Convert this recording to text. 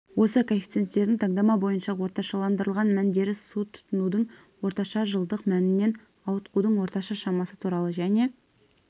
осы коэффициенттердің таңдама бойынша орташаландырылған мәндері су тұтынудың орташа жылдық мәнінен ауытқудың орташа шамасы туралы және